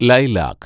lilac